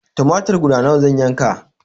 Tumatir guda nawa zan yanka?